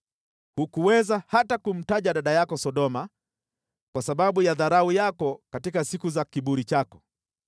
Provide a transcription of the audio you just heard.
Hukuweza hata kumtaja dada yako Sodoma kwa sababu ya dharau yako katika siku za kiburi chako,